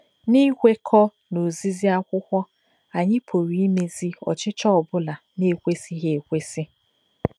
N'ikwekọ n'ozizi akwụkwọ, anyị pụrụ imezi ọchịchọ ọ bụla na-ekwesịghị ekwesị.